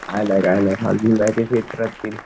काय नाय काय नाय आजून मॅचेस येत राहतील